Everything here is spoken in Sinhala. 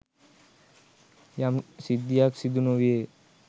යම් සිද්ධියක් සිදු නොවේය